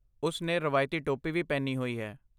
ਉਸ ਨੇ ਰਵਾਇਤੀ ਟੋਪੀ ਵੀ ਪਹਿਨੀ ਹੋਈ ਹੈ।